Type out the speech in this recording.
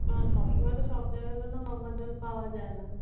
আহ সব সময় তো সব জায়গায় ধরে নাও গঙ্গার জল পাওয়া যায় না